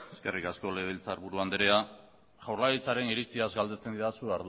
eskerrik asko legebiltzarburu andrea jaurlaritzaren iritziaz galdetzen didazu